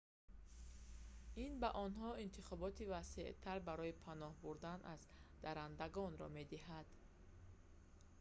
ин ба онҳо интихоби васеътар барои паноҳ бурдан аз даррандагонро медиҳад